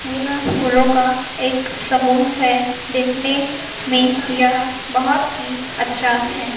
यह फूलों का एक समूह है देखने में यह बहोत ही अच्छा है।